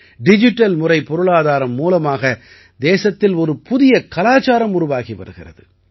digital முறை பொருளாதாரம் மூலமாக தேசத்தில் ஒரு புதிய கலாச்சாரம் உருவாகி வருகிறது